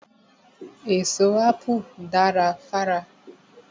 Èso Ápù dara fára.